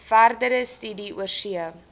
verdere studie oorsee